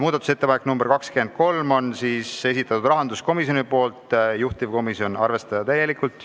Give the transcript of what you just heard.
Muudatusettepanek nr 23 on rahanduskomisjoni esitatud, juhtivkomisjoni otsus: arvestada täielikult.